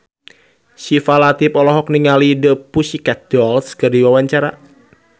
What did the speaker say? Syifa Latief olohok ningali The Pussycat Dolls keur diwawancara